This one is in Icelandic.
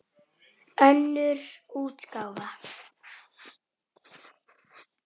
Þarftu að fá þau?